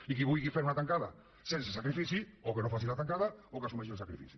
i qui vulgui fer una tancada sense sacrifici o que no faci la tancada o que assumeixi el sacrifici